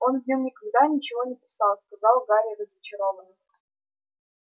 он в нём никогда ничего не писал сказал гарри разочарованно